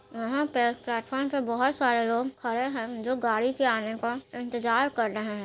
यहां पे प्लेटफार्म पर बहुत सारे लोग खड़े हैं जो गाड़ी के आने का इंतजार कर रहे है।